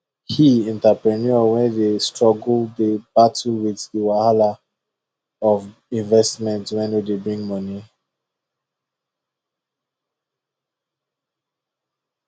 he entrepreneur wey dey struggle dey battle with the wahala of investment wey no dey bring money